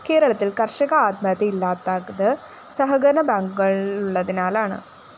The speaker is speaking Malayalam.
കേരളത്തില്‍ കര്‍ഷക ആത്മഹത്യ ഇല്ലാത്തത് സഹകരണ ബാങ്കുകളുള്ളതിനാലാണ്